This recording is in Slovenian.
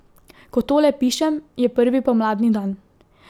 Ko tole pišem, je prvi pomladni dan.